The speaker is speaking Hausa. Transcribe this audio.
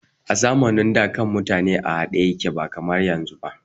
A zamanin da, kan mutane na haɗe ba kamar yanzu ba.